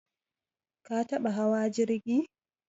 Ka taɓa hawa jirgi?